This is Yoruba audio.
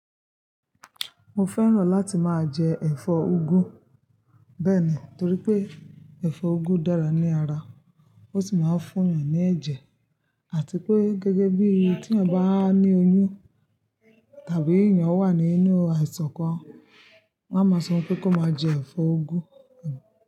Mo fẹ́ràn láti máa jẹ ẹ̀fọ́ úgú bẹ́ẹ̀ni, torí pé ẹ̀fọ́ úgú dára ní ara, ó sì máa ń fún èèyàn ní ẹ̀jẹ̀, àti pé gẹ́gẹ́ bí tí èèyàn bá ní oyún tàbí èèyàn wà nínú àìsàn kan, wá máa sọ pé kó máa jẹ ẹ̀fọ́ úgú.